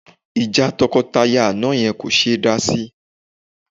Ìjà tọkọtaya àná yẹn kò ṣe é dá sí